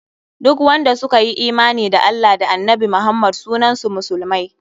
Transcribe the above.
Duk wanda suka yi imani da Allah da annabi Muhammad sunan su musulmai.